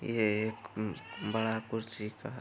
ये एक उम्म बड़ा कुर्सी का ह --